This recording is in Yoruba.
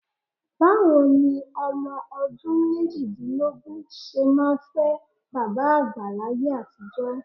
Báwo ni ọmọ ọdún méjìdínlógún ṣe máa fẹ́ bàbá àgbà láyé àtijọ́?